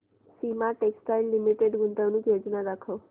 Soma textile limited गुंतवणूक योजना दाखव